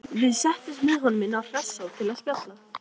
Við settumst með honum inn á Hressó til að spjalla.